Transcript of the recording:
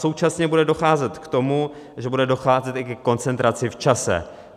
Současně bude docházet k tomu, že bude docházet i ke koncentraci v čase.